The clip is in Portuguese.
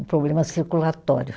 Um problema circulatório.